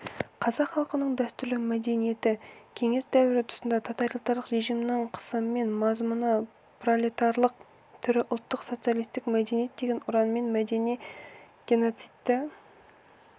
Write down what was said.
қазақ халқының дәстүрлі мәдениеті кеңес дәуірі тұсында тоталитарлық режимнің қысымымен мазмұны пролетарлық түрі ұлттық социалистік мәдениет деген ұранмен мәдени геноцидті